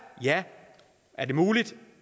ja er det muligt